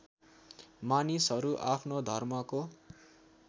मानिसहरू आफ्नो धर्मको